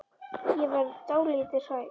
Ég verð dálítið hrædd.